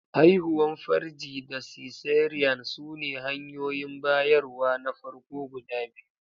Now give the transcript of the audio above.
Haihuwar farji da cesarean sune hanyoyin bayarwa na farko guda biyu.